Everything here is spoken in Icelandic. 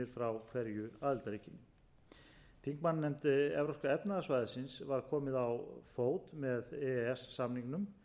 hverju aðildarríki þingmannanefnd evrópska efnahagssvæðisins var komið á fót með e e s samningnum